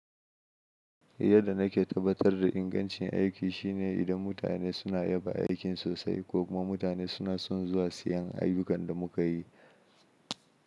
Yadda nake tabbatar da ingancin aiki shine idan mutane suna yaba aikin sosai ko kuma mutane suna son zuwa siyan ayyukan da muka yi.